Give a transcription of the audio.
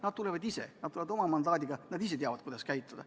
Nad tulevad ise, nad tulevad oma mandaadiga, nad ise teavad, kuidas käituda.